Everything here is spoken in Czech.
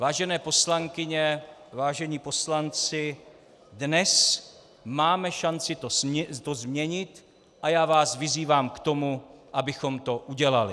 Vážené poslankyně, vážení poslanci, dnes máme šanci to změnit a já vás vyzývám k tomu, abychom to udělali.